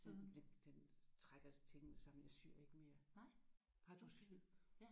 Den den den trækker tingene sammen. Jeg syr ikke mere. Har du syet?